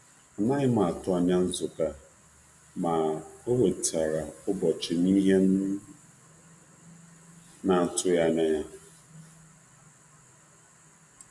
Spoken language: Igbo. Adighị m atụ anya nzute ah, ma o wetara nghọta na-atụghị anya ya n'ụbọchị m ahu.